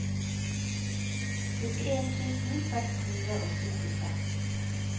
syttien tusen seks hundre og syttiseks